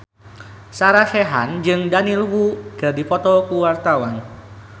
Sarah Sechan jeung Daniel Wu keur dipoto ku wartawan